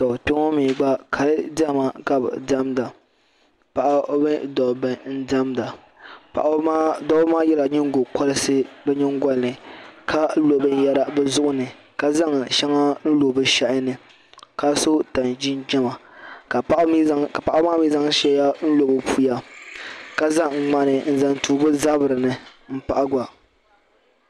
Tɔ kpeŋɔ mee gba kali diɛma kabi diɛmda paɣaba mini dabba n diɛmda dabba maa yela nyingo kolisi bɛ nyingoli ni ka lo binyera bɛ zuɣu ni ka zaŋ sheŋa n lo bɛ shehi ni ka so tani jinjiɛma ka paɣaba maa mee zaŋ sheŋa n lo bɛ puya ka zaŋ ŋmani n zaŋ tu bɛ zabri ni m pahi gba.